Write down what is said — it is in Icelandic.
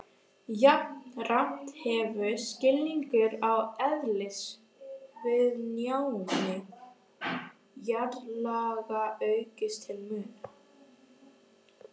Jafnframt hefur skilningur á eðlisviðnámi jarðlaga aukist til muna.